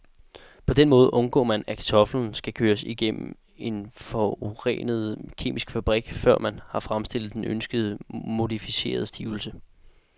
På den måde undgår man, at kartoflerne skal køres igennem en forurenende kemisk fabrik, før man har fremstillet den ønskede modificerede stivelse.